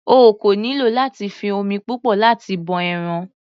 O kò nílò láti fi omi púpọ̀ láti bọ ẹran.